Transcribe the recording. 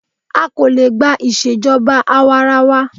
A kò lè gba ìṣèjọba àwarawa.